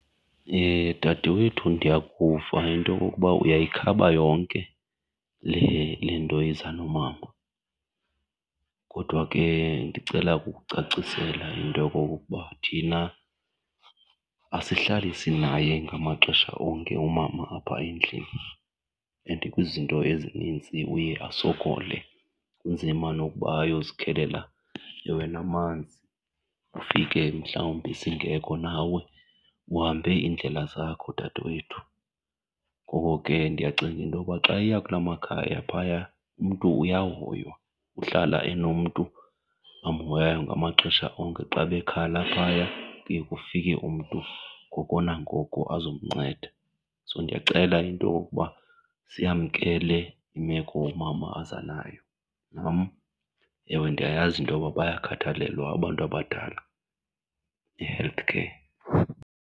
Dadewethu, ndiyakuva into okokuba uyayikhaba yonke le, le nto iza nomama. Kodwa ke ndicela ukukucacisela into yokokokuba thina asihlali sinaye ngamaxesha onke umama apha endlini and kwizinto ezinintsi uye asokole. Kunzima nokuba ayozikhelela ewe namanzi, ufike mhlawumbi singekho nawe uhambe iindlela zakho, dadewethu. Ngoko ke ndiyacinga intoba xa eya kulaa makhaya phaya umntu uyahoywa, uhlala enomntu amhoyayo ngamaxesha onke. Xa bekhala phaya kuye kufike umntu ngoko nangoko azomnceda. So ndiyacela into yokokuba siyamkele imeko umama aza nayo, nam ewe ndiyayazi into yoba bayakhathalelwa abantu abadala e-healthcare.